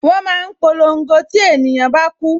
Wọn máa ń polongo tí ènìyàn bá ku